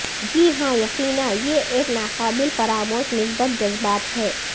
جی ہاں یقینا یہ ایک ناقابل فراموش مثبت جذبات ہے